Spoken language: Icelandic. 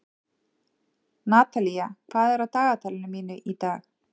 Natalía, hvað er á dagatalinu mínu í dag?